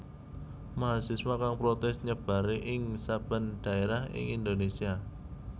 Mahasiswa kang protès nyebar ing saben dhaérah ing Indonésia